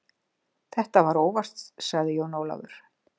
Þetta var óvart, sagði Jón Ólafur.